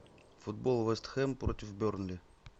футбол вест хэм против бернли